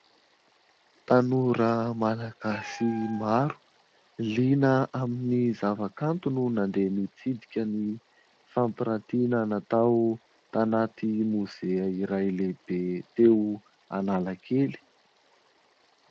Tanora malagasy maro liana amin'ny zavakanto no nandeha nitsidika ny fampirantiana natao tanaty mozea lehibe iray teo Analakely.